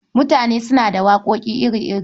Mutane auna da waƙoƙi iri-iri.